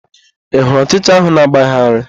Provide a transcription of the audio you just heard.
Ị hụrụ ọchịcha ahụ na-agbagharị?